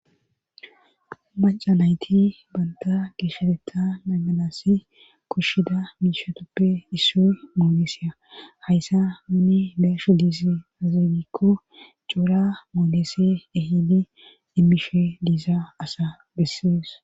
Maca nayti banta geesheteta naygalasi kushshida miishatoppe issoy mooleseya hayssa minni beeshu diisi azegikko coura moolese ehini dimmishe diisa asa gessees